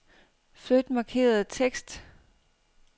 Flyt markerede tekst.